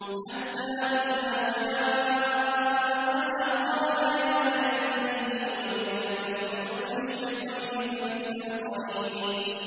حَتَّىٰ إِذَا جَاءَنَا قَالَ يَا لَيْتَ بَيْنِي وَبَيْنَكَ بُعْدَ الْمَشْرِقَيْنِ فَبِئْسَ الْقَرِينُ